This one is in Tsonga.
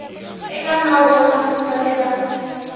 eka nawu wa mafambiselo ya